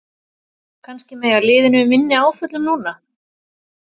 Kannski mega liðin við minni áföllum núna?